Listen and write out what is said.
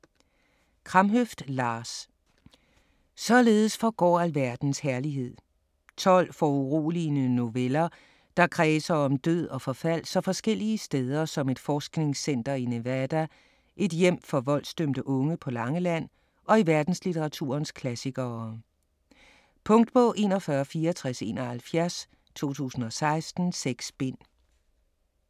Kramhøft, Lars: Således forgår alverdens herlighed 12 foruroligende noveller, der kredser om død og forfald så forskellige steder som et forskningscenter i Nevada, et hjem for voldsdømte unge på Langeland og i verdenslitteraturens klassikere. Punktbog 416471 2016. 6 bind.